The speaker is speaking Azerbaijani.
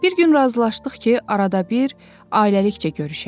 Bir gün razılaşdıq ki, arada bir ailəlikcə görüşək.